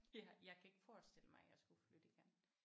Ja jeg kan ikke forestille mig at jeg skulle flytte igen